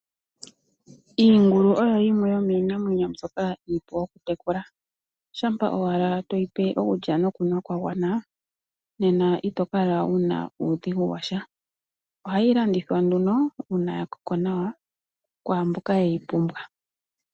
Iingulu oyo yimwe yomiinamwenyo mbyoka iiipu oku tekula, shampa owala to yi pe okulya nokunwa kwa gwana nena ito kala wu na uudhigu washa. Ohayi landithwa nduno uuna ya koko nawa, kwaamboka ye yi pumbwa.